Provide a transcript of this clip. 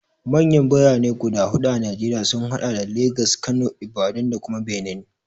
Manyan Birane guda huɗu a Najeriya sun haɗa da Legas, Kano, Ibadan da kuma Benin.